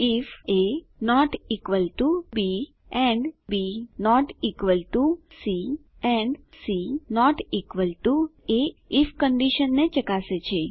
ifaબી and B C and C A if કંડીશનને ચકાસે છે